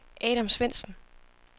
Adam Svendsen